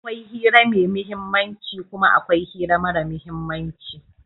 Akwai hira mai muhimmanci kuma akwai hira mara muhimmanci.